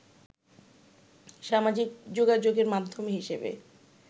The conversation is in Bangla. সামাজিক যোগাযোগের মাধ্যম হিসেবে